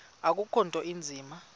akukho nto inzima